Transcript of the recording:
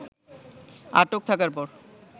আটক থাকার পর